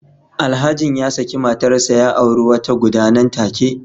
Alhajin ya saki matarsa ​​ya auri wata guda nan take